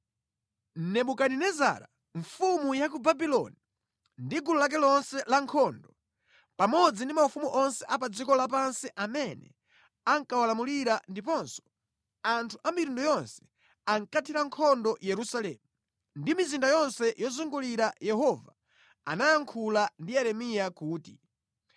Nebukadinezara mfumu ya ku Babuloni ndi gulu lake lonse lankhondo, pamodzi ndi maufumu onse a pa dziko lapansi amene ankawalamulira ndiponso anthu a mitundu yonse ankathira nkhondo Yerusalemu ndi mizinda yonse yozungulira Yehova anayankhula ndi Yeremiya kuti,